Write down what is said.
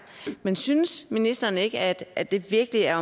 men synes ministeren ikke at det virkelig er